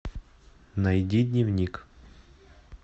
найди дневник